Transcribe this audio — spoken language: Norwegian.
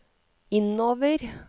innover